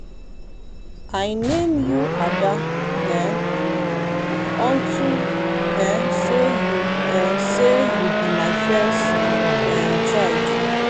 i name you ada um unto um say you um say you be my first um child.